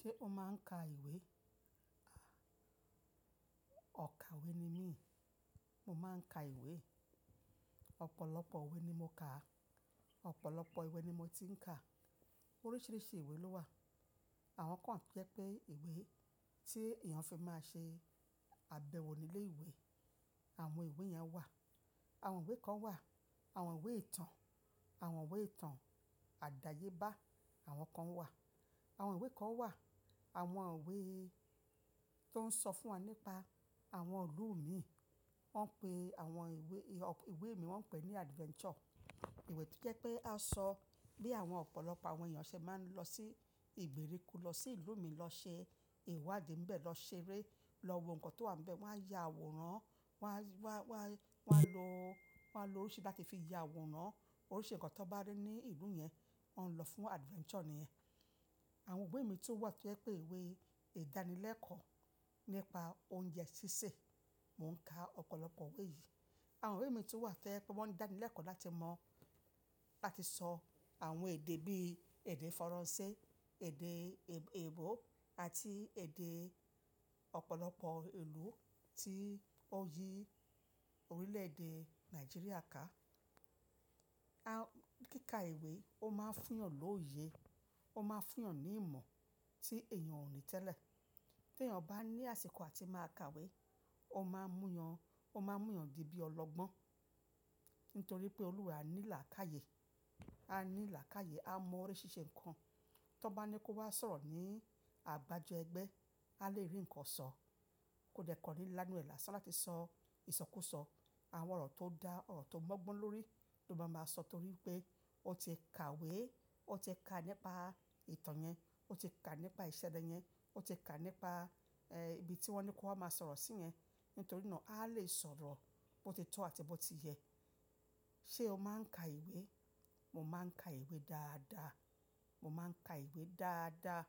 Ṣé o máa ń ka ìwé? Ọ̀kàwé ní mí. Mo máa ń ka ìwé. Ọ̀pọ̀lọpọ̀ ìwé ní mó kà. Ọ̀pọ̀lọpọ̀ ìwé ní mó ti ń ka. Oríṣiríṣi ìwé ló wà. Àwọn kàn wà tò jẹ́ pé ìwé tí èèyàn fi máa ṣe àbẹ̀wò nílé ìwé. Àwọn ìwé yẹn wà. Àwọn ìwé kan wà. Àwọn ìwé ìtàn, àwọn ìwé ìtàn àdáyébá, àwọn kan wà. Àwọn ìwé kan wà. Àwọn ìwé tó ń sọ fún wa nípa àwọn ìlú mi. Wọ́n pe àwọn ìwé, ìwé mi wọ́n pè ní adventure. Ìwé tó jẹ́ pé a sọ bí àwọn ọ̀pọ̀lọpọ̀ àwọn èèyàn ṣẹ̀ máa ń lọ sí ìgbèríko, lọ sí ìlú mi, lọ ṣe ìwádìí ńbẹ, lọ ṣeré, lọ wo nǹkan tó wà ńbẹ. Wọ́n á ya àwòrán, wọ́n á, wọ́n á, wọ́n á lo, wọ́n á lo oríṣi tí fi ya àwòrán. Oríṣi nǹkan tó bá ní ìlú yẹn, wọn lọ fún adventure ni ẹ́. Àwọn ìwé mi tó wà tí jẹ́ pé ìwé ìdánilẹ́kọ̀ọ́ nípá oúnjẹ sísè. Mo ń ka ọ̀pọ̀lọpọ̀ ìwé yìí. Àwọn ìwé mi tún wà tò jẹ́ ẹ pé wọ́n ń dánilẹ́kọ̀ọ́ láti mọ láti sọ àwọn èdè bí èdè Faransé, èdè Èèbo àti èdè ọ̀pọ̀lọpọ̀ ìlú tí oyí orílè-èdè Nàìjíríà ká. Kíka ìwé ó máa ń fún yàn lóye, ó máa ń fún yàn ní ìmọ̀ tí èèyàn ò ní tẹ́lẹ̀. Tí èèyàn bá ní àsìkò àti máa ka ìwé, ó máa ń mú yàn, ó máa ń mú yàn di bí ọlọ́gbọ́n. Nítorí pé Olúwa ní làákàyí e. Á ní làákàyiè. Á mọ oríṣiríṣi nǹkan. Tọ́ bá ni kó wá sọ̀rọ̀ ní àbájọ ẹgbẹ́, a lè rí ǹkan sọ. Kò dẹ́kọọ́ ní lánú ẹ làsán látí sọ ìsọkúsọ. Àwọn ọ̀rọ̀ tó dá, ọ̀rọ̀ tó lọ́gbọ́n lórí ló máa ma sọ torí pé ó ti ka ìwé, ó ti ka nípa ìtàn yẹn, ó ti ka nípa ìṣẹ̀lẹ̀ yẹn, ó ti ka nípa, ẹ́, ibi tí wọ́n ni kó wá máa sọ̀rọ̀ sí yẹn. Nítorí náà a lè sọ̀rọ̀ bó ti tó àti bó ti yẹ. Ṣé o máa ń ka ìwé? Mo máa ń ka ìwé dáadáa. Mo máa ń ka ìwé dáadáa.